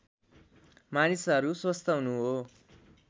मानिसहरू स्वस्थ हुनु हो